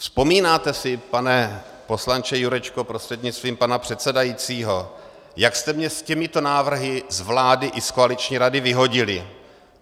Vzpomínáte si, pane poslanče Jurečko prostřednictvím pana předsedajícího, jak jste mě s těmito návrhy z vlády i z koaliční rady vyhodili?